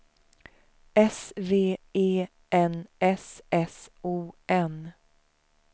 S V E N S S O N